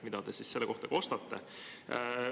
Vaatavad ilmselt järele.